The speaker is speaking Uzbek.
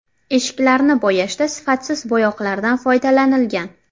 Eshiklarni bo‘yashda sifatsiz bo‘yoqlardan foydalanilgan.